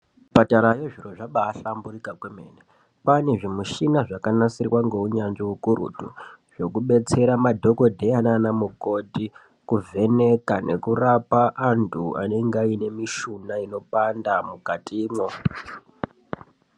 Kuzvipatarayo zviro zvabaahlanburika kwemene. Kwaane zvimishini zvakanasirwa ngeunyanzvi ukurutu, zvekudetsera anadhogodheya nanamukoti kurapa antu anenge aine mishuna inopanda mukatimwo.